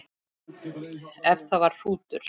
Ef það var hrútur.